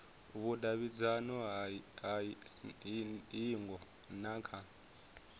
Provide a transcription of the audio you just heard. vhudavhidzano ha hingo na kha